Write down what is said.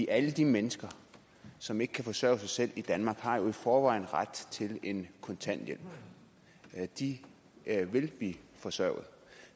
alle de mennesker som ikke kan forsørge sig selv i danmark har jo i forvejen ret til en kontanthjælp de vil blive forsørget